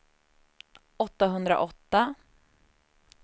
åttahundraåtta